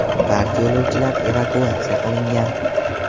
Barcha yo‘lovchilar evakuatsiya qilingan.